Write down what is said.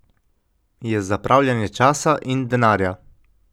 Je zapravljanje časa in denarja.